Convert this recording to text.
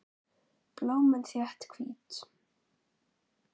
Blómin þétt, hvít.